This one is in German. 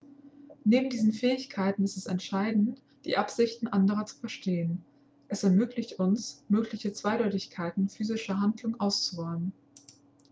neben diesen fähigkeiten ist es entscheidend die absichten anderer zu verstehen es ermöglicht uns mögliche zweideutigkeiten physischer handlungen auszuräumen